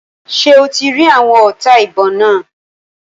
Ṣé o ti rí àwọn ọta ìbọn náà?